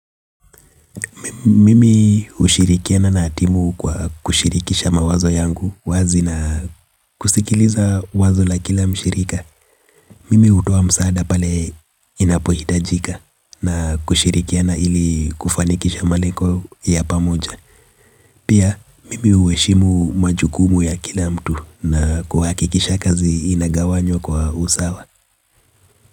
Mimi hushirikiana na timu kwa kushirikisha mawazo yangu wazi na kusikiliza wazo la kila mshirika. Mimi hutoa msaada pale inapohitajika na kushirikiana ili kufanikisha malengo ya pamoja. Pia, mimi huheshimu majukumu ya kila mtu na kuhakikisha kazi inagawanywa kwa usawa.